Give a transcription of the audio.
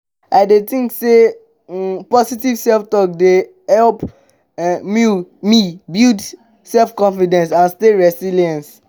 i dey think say um positive self-talk dey help um me build my self-confidence and stay resilience.